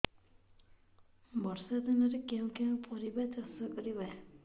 ବର୍ଷା ଦିନରେ କେଉଁ କେଉଁ ପରିବା ଚାଷ କରିବା